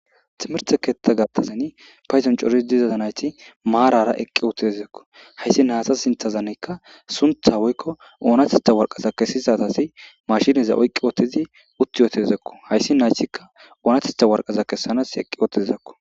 Timirite ketha gathan paydon coriza nayti maran eqi uttida haysi nayta sintha woykon onatetha waraqata kesizageti mashineza oyqi uttidi utti uttidako haysa onatetha waraqata kesana eqi utidako